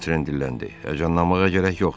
Votren dilləndi: Həyəcanlanmağa gərək yoxdur.